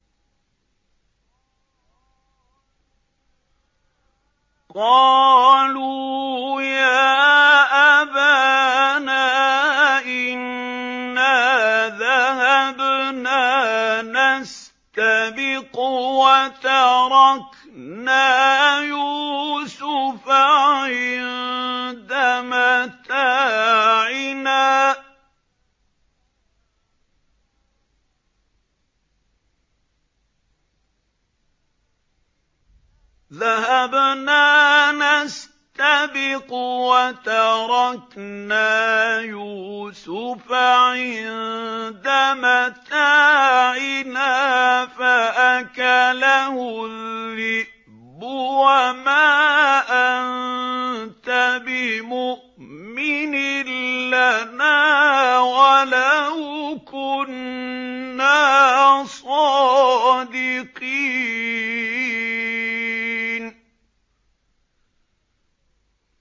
قَالُوا يَا أَبَانَا إِنَّا ذَهَبْنَا نَسْتَبِقُ وَتَرَكْنَا يُوسُفَ عِندَ مَتَاعِنَا فَأَكَلَهُ الذِّئْبُ ۖ وَمَا أَنتَ بِمُؤْمِنٍ لَّنَا وَلَوْ كُنَّا صَادِقِينَ